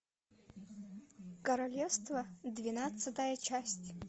королевство двенадцатая часть